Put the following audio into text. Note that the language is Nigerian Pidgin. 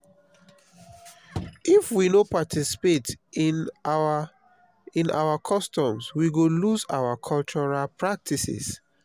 if we no participate in our in our customs we go lose our cultural practices.